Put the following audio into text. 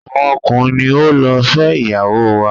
awọn ọkunrin ni o ló fé ìyàwó wa.